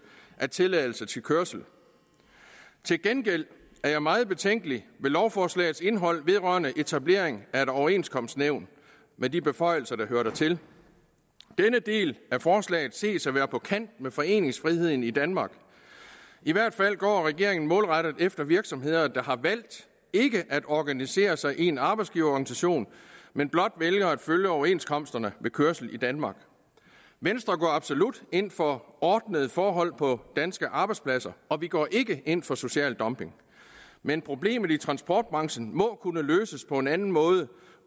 af tilladelse til kørsel til gengæld er jeg meget betænkelig ved lovforslagets indhold vedrørende etablering af et overenskomstnævn med de beføjelser der hører dertil denne del af forslaget ses at være på kanten med foreningsfriheden i danmark i hvert fald går regeringen målrettet efter virksomheder der har valgt ikke at organisere sig i en arbejdsgiverorganisation men blot vælger at følge overenskomsterne ved kørsel i danmark venstre går absolut ind for ordnede forhold på danske arbejdspladser og vi går ikke ind for social dumping men problemet i transportbranchen må kunne løses på en anden måde